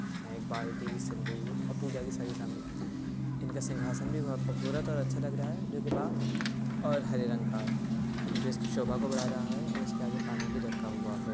एक बाल्टी सिंदूर और पूजा की सारी सामग्री इनका सिंहासन भी बहुत खूबसूरत और अच्छा लग रहा है जो की बा और हरे रंग का है जो इसकी शोभा को बड़ा रहा हैऔर इसके आगे पानी भी रखा हुआ है।